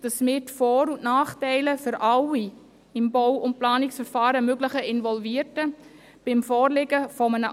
Beim Vorliegen eines allenfalls anderen Verfahrens wird die BDP die Vor- und Nachteile für alle im Bau- und Planungsverfahren möglichen Involvierten wieder vertieft prüfen.